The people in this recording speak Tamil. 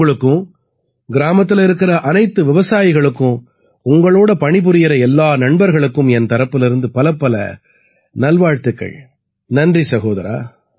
உங்களுக்கும் கிராமத்தில இருக்கற அனைத்து விவசாயிகளுக்கும் உங்களோட பணிபுரியற எல்லா நண்பர்களுக்கும் என் தரப்பிலிருந்து பலப்பல நல்வாழ்த்துக்கள் நன்றி சகோதரா